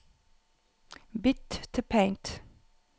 Bytt til Paint